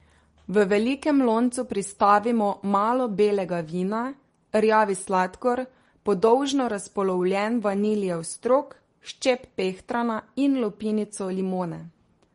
V velikem loncu pristavimo malo belega vina, rjavi sladkor, podolžno razpolovljen vaniljev strok, ščep pehtrana in lupinico limone.